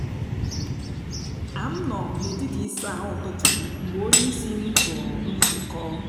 a m nọ n’etiti isa ahu ụtụtụ m mgbe onyeisi m tụrụ nzukọ